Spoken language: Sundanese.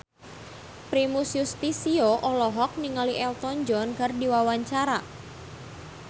Primus Yustisio olohok ningali Elton John keur diwawancara